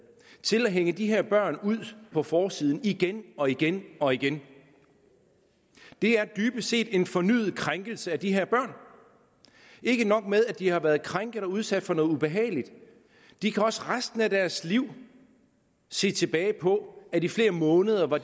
til at hænge de her børn ud på forsiden igen og igen og igen det er dybest set en fornyet krænkelse af de her børn ikke nok med at de har været krænket og udsat for noget ubehageligt de kan også resten af deres liv se tilbage på at de i flere måneder var